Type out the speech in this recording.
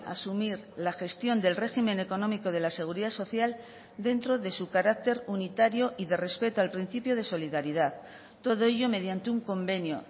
asumir la gestión del régimen económico de la seguridad social dentro de su carácter unitario y de respeto al principio de solidaridad todo ello mediante un convenio